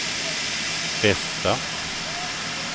bästa